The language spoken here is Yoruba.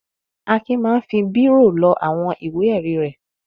Akin máa ń fi bírò lọ àwọn ìwé-ẹ̀rí rẹ̀.